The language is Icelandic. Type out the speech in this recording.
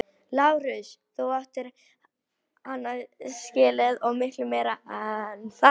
LÁRUS: Þú áttir hann skilið og miklu meira en það!